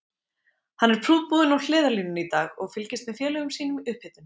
Hann er prúðbúinn á hliðarlínunni í dag og fylgist með félögum sínum í upphitun.